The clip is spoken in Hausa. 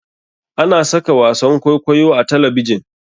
Ana saka wasan kwaikwayo a talabjin.